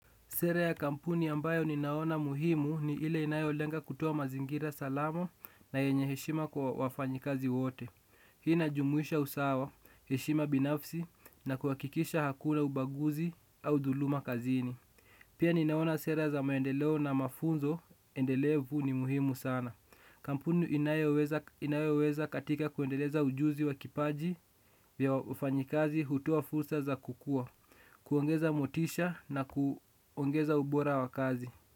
Sera ya kampuni ambayo ninaona muhimu ni ile inayolenga kutoa mazingira salama na yenye heshima kwa wafanyikazi wote. Hii inajumuisha usawa, heshima binafsi na kuhakikisha hakuna ubaguzi au dhuluma kazini. Pia ninaona sera za maendeleo na mafunzo, endelevu ni muhimu sana. Kampuni inayoweza katika kuendeleza ujuzi wa kipaji ya wafanyikazi hutoa fursa za kukua. Kuongeza motisha na kuongeza ubora wa kazi.